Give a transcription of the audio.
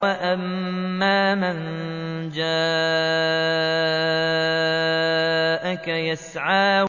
وَأَمَّا مَن جَاءَكَ يَسْعَىٰ